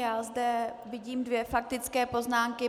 Já zde vidím dvě faktické poznámky.